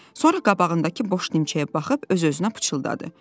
Sonra qabağındakı boş dimçəyə baxıb öz-özünə pıçıldadı.